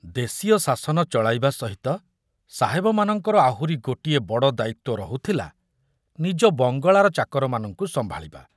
ଦେଶୀୟ ଶାସନ ଚଳାଇବା ସହିତ ସାହେବମାନଙ୍କର ଆହୁରି ଗୋଟିଏ ବଡ଼ ଦାୟିତ୍ୱ ରହୁଥିଲା ନିଜ ବଙ୍ଗଳାର ଚାକରମାନଙ୍କୁ ସମ୍ଭାଳିବା।